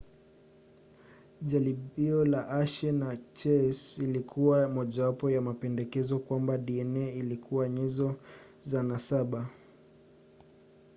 jaribio la hershey na chase lilikuwa mojawapo ya mapendekezo kwamba dna ilikuwa nyenzo za nasaba